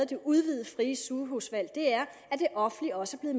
det udvidede frie sygehusvalg er at det offentlige også er